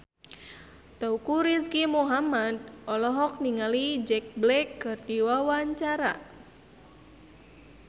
Teuku Rizky Muhammad olohok ningali Jack Black keur diwawancara